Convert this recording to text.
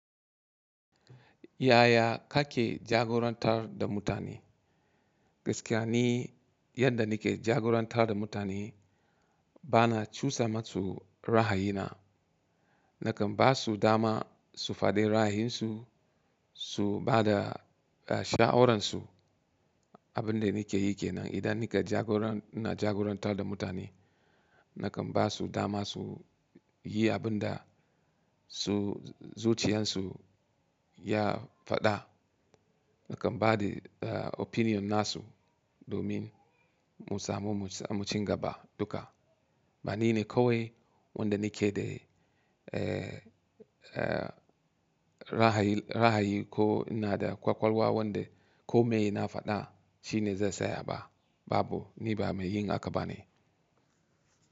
Yaya kake jagorantar da mutane? Gaskiya ni, yadda nike jagorantar da mutane bana cusa matsu ra'ayi na. Nakan ba su dama su faɗi ra'ayinsu, su ba da sha'awaransu. Abin da nike yi kenan idan nike jagora-- ina jagorantar da mutane, nakan ba su dama su yi abin da su zuciyarsu ya faɗa. Nakan ba da opinion nasu domin mu samu mu ci gaba duka. Bani ne kawai wanda nike de, eh, eh, ra'ayi, ra'ayi ko ina da ƙwaƙwalwa wanda kome na faɗa shine zai tsaya ba. Babu, ni ba mai yin haka bane.